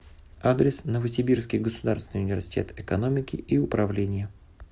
адрес новосибирский государственный университет экономики и управления